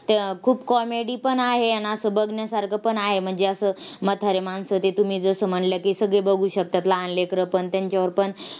त्या खूप comedy पण आहे आणि असं बघण्यासारखं पण आहे. म्हणजे असं म्हातारी माणसं ते तुम्ही जसं म्हणला की, सगळी बघू शकतात लहान लेकरंपण त्यांच्यावर पण